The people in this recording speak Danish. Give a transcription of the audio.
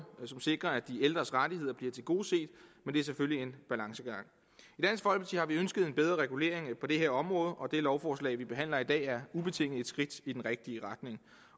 som sikrer at de ældres rettigheder bliver tilgodeset men det er selvfølgelig en balancegang i har vi ønsket en bedre regulering på det her område og det lovforslag vi behandler i dag er ubetinget et skridt i den rigtige retning